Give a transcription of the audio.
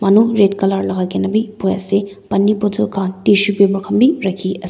manu red colour lagai kini bhi bohe ase pani bottle khan tissue paper khan bhi rakhi ase--